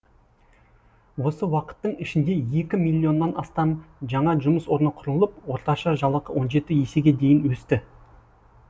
осы уақыттың ішінде екі миллионнан астам жаңа жұмыс орны құрылып орташа жалақы он жеті есеге дейін өсті